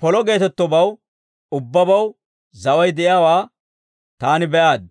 Polo geetettobaw ubbabaw zaway de'iyaawaa taani be'aad;